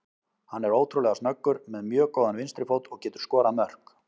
Hann er ótrúlega snöggur, með mjög góðan vinstri fót og getur skorað mörk.